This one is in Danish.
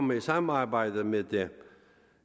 med i samarbejdet med det